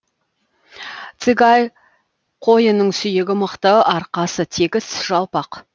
цигай қойының сүйегі мықты арқасы тегіс жалпақ